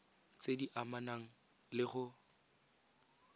tse di amanang le go